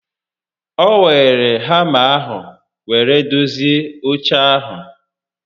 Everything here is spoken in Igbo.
O weere hama ahụ were dozie oche ahụ